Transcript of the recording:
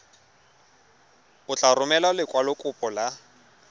o tla romela lekwalokopo la